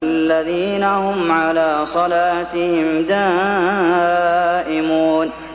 الَّذِينَ هُمْ عَلَىٰ صَلَاتِهِمْ دَائِمُونَ